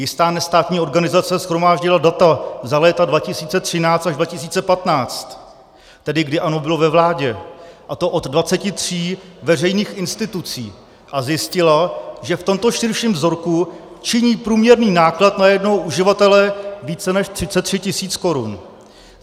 Jistá nestátní organizace shromáždila data za léta 2013 až 2015, tedy kdy ANO bylo ve vládě, a to od 23 veřejných institucí, a zjistila, že v tomto širším vzorku činí průměrný náklad na jednoho uživatele více než 33 tisíc korun.